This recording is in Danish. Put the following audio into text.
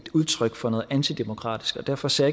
udtryk for noget antidemokratisk og derfor ser